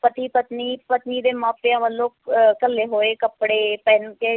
ਪਤੀ ਪਤਨੀ, ਪਤਨੀ ਦੇ ਮਾਪਿਆਂ ਵੱਲੋਂ ਅਹ ਘੱਲੇ ਹੋਏ ਕੱਪੜੇ ਪਹਿਨ ਕੇ,